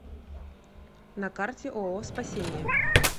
на карте ооо спасение